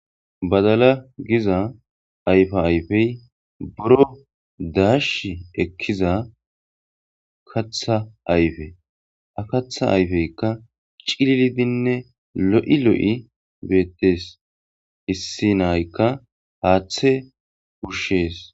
Badala giza ayfa ayfey boro daash ekkiza katha ayfe a katha ayfeykka cililidinne lo7i lo7i beettes issi naykka haaththe ushshees.